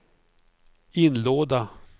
inlåda